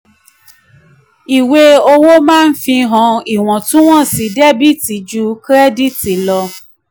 ìwé owó maa ń fihàn iwọntúnwọnsì dẹ́bìtì ju kírẹ́dìtì lọ.